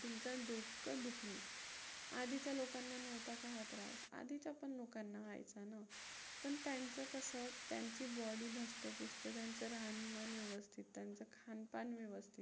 डोकं दुखणे. आधीच्या लोकांना नव्हता का हा त्रास? आधीच्या पण लोकांना व्हायचा ना. पण त्यांचं कसं? त्यांची body धष्टपुष्ट, त्यांचं राहणीमान व्यवस्थित, त्यांचं खानपान व्यवस्थित